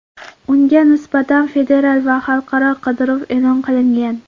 Unga nisbatan federal va xalqaro qidiruv e’lon qilingan.